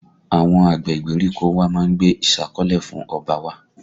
Àwọn àgbẹ̀ ìgbèríko wa má ń gbé ìsákọ́lè lọ fún ọba wa